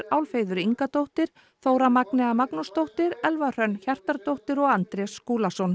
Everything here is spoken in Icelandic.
Álfheiður Ingadóttir Þóra Magnea Magnúsdóttir Elva Hrönn Hjartardóttir og Andrés Skúlason